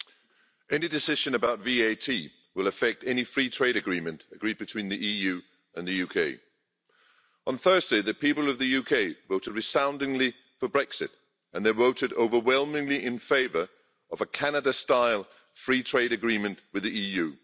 Madam President, any decision about VAT will affect any free trade agreement agreed between the EU and the UK. On Thursday, the people of the UK voted resoundingly for Brexit and they voted overwhelmingly in favour of a Canada style free trade agreement with the EU.